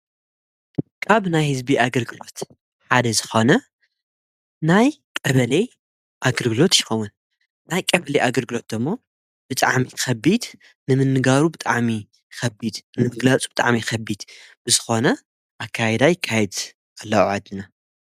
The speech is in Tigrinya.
ቃብ ናይ ሕዝቢ ኣገርግሎት ሓደ ዝኾነ ናይ ቀበለይ ኣግርግሎት ይኮዉን ናይ ቀበልይ ኣግርግሎትዶሞ ብጥዓሚ ኸቢድ ንምንጋሩ ብጥዓሚ ኸቢድ ንምትግላጹ ብጥዓሚ ኸቢድ ብዝኾነ ኣካይዳ ይ ካይት ኣለእዓድና።